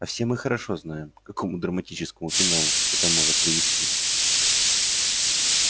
а все мы хорошо знаем к какому драматическому финалу это может привести